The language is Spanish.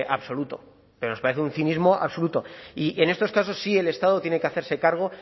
absoluto nos parece de un cinismo absoluto y en estos casos sí el estado tiene que hacerse cargo